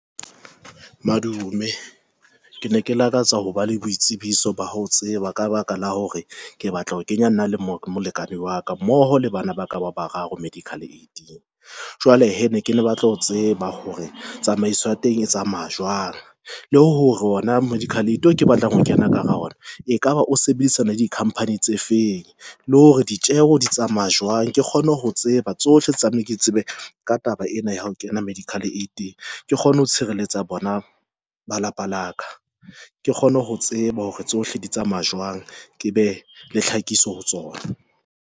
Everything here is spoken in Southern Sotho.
Madume ke ne ke lakatsa ho ba le boitsebiso ba ho tseba ka baka la hore ke batla ho kenya nna le molekane wa ka mmoho le bana ba ka ba bararo medical aid-eng. Jwale he ne ke ne batla ho tseba hore tsamaiso ya teng e tsamaya jwang le hore hona medical aid o ke batlang ho kena ka hara ona, e kaba o sebedisana le di-company tse feng le hore ditjeho di tsamaya jwang. Ke kgone ho tseba tsohle..di tsamaye. Ke tsebe ka taba ena ya hao kena medical aid-eng ke kgone ho tshireletsa bona ba lapa laka, ke kgone ho tseba hore tsohle di tsamaya jwang, ke be le tlhakiso ho tsona.